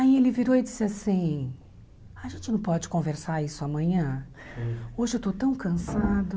Aí ele virou e disse assim, a gente não pode conversar isso amanhã, hoje eu estou tão cansado.